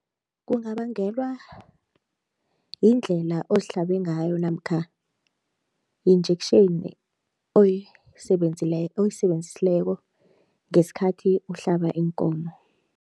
Kungabangelwa yindlela ozihlabe ngayo namkha yi-injection oyisebenzisileko ngesikhathi uhlaba iinkomo.